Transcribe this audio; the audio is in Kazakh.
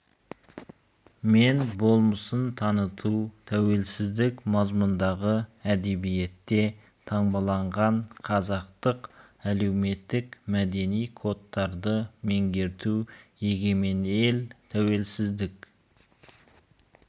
мен болмысын таныту тәуелсіздік мазмұндағы әдебиетте таңбаланған қазақтық әлеуметтік мәдени кодтарды меңгерту егемен ел тәуелсіздік